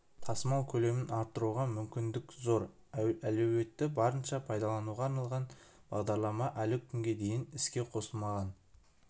тасымал көлемін арттыруға мүмкіндік зор әлеуетті барынша пайдалануға арналған бағдарлама әлі күнге дейін іске қослымаған